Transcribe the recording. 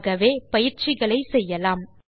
ஆகவே நாம் பயிற்சிகளை செய்யலாம்